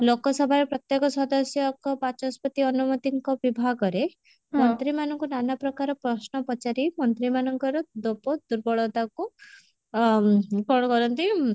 ଲୋକସଭାର ପ୍ରତ୍ୟକ ସଦସ୍ୟଙ୍କ ବାଚସ୍ପତି ଅନୁମତିଙ୍କ ବିଭାଗରେ ମନ୍ତ୍ରୀ ମାନଙ୍କୁ ନାନା ପ୍ରକାର ପ୍ରଶ୍ନ ପଚାରି ମନ୍ତ୍ରୀ ମାନଙ୍କର ଦୋପ ଦୁର୍ବଳତାକୁ ମ କଣ କରନ୍ତି